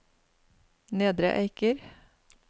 Nedre Eiker